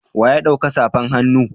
Wa ya dauka safan hannu.